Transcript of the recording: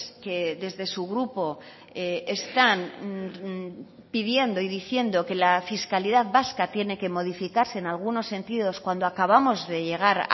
que desde su grupo están pidiendo y diciendo que la fiscalidad vasca tiene que modificarse en algunos sentidos cuando acabamos de llegar